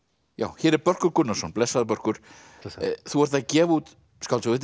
hér er Börkur Gunnarsson blessaður Börkur þú ert að gefa út skáldsögu þetta